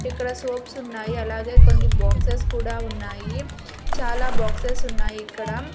ఇక్కడ సోప్స్ ఉన్నాయి అలాగే కొన్ని బాక్సెస్ కూడా ఉన్నాయి చాలా బాక్సెస్ ఉన్నాయి ఇక్కడ.